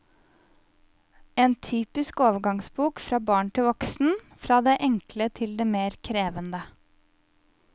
En typisk overgangsbok fra barn til voksen, fra det enkle til det mer krevende.